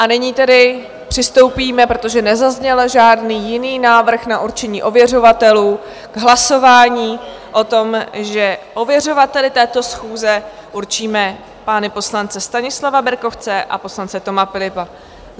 A nyní tedy přistoupíme, protože nezazněl žádný jiný návrh na určení ověřovatelů, k hlasování o tom, že ověřovateli této schůze určíme pány poslance Stanislava Berkovce a poslance Toma Philippa.